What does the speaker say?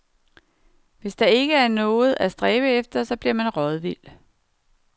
Hvis der ikke er noget at stræbe efter, så bliver man rådvild.